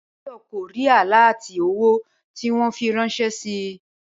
Báyò̩ kò rí àláàtì owó tí wó̩n fi ráns̩é̩ si